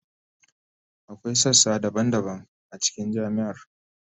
Akwai sassa daban-daban a cikin jami'ar.